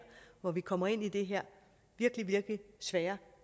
hvor vi kommer ind i det her virkelig virkelig svære